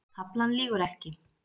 Taflan lýgur ekki